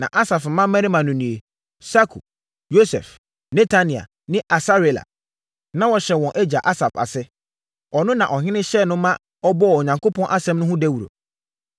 Na Asaf mmammarima no nie: Sakur, Yosef, Netania ne Asarela. Na wɔhyɛ wɔn agya Asaf ase. Ɔno na ɔhene hyɛɛ no ma ɔbɔɔ Onyankopɔn asɛm no ho dawuro.